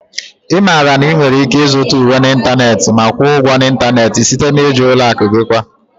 Ị maara na ị nwere ike ịzụta uwe n'ịntanetị ma kwụọ ụgwọ n'ịntanetị site na iji ụlọ akụ gị kwa